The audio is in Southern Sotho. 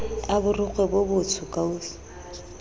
a borikgwe bo botsho kausu